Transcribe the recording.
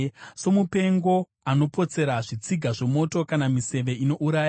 Somupengo unopotsera zvitsiga zvomoto, kana miseve inouraya,